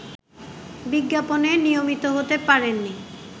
বিজ্ঞাপনে নিয়মিত হতে পারেননি